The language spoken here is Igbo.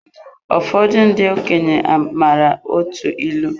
Ụfọdụ ndị okenye maara atụ ịlụ